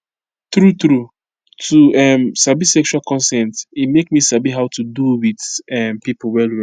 true true to um sabi sexual consent e make me sabi how to do with um people well well